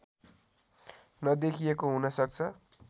नदेखिएको हुन सक्छ